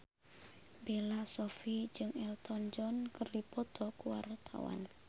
Bella Shofie jeung Elton John keur dipoto ku wartawan